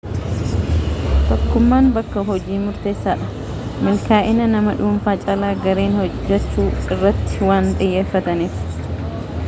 tokkumman bakka hojii murteessaa dha milkaa'ina nama dhuunfa caalaa gareen hojjaachu irratti waan xiyyeeffataniif